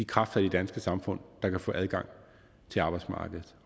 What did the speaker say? kræfter i det danske samfund der kan få adgang til arbejdsmarkedet